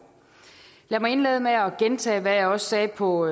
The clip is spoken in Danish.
lad mig indlede med at gentage hvad jeg også sagde på